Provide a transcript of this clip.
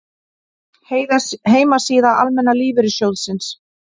Heimasíða Almenna lífeyrissjóðsins